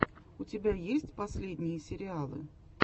у тебя есть последние сериалы